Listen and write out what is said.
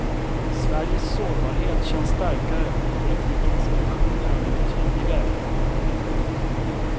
Sveriges sårbarhet känns starkare och politikens illusioner har blivit tydligare. punkt